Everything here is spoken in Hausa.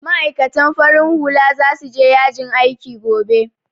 Ma'aikatan farin hula za su je yajin aiki gobe